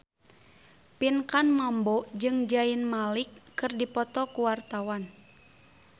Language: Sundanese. Pinkan Mambo jeung Zayn Malik keur dipoto ku wartawan